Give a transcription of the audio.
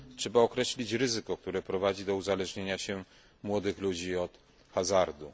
Trzeba określić ryzyko, które prowadzi do uzależnienia się młodych ludzi od hazardu.